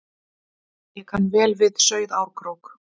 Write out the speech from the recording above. Ég kann vel við Sauðárkrók.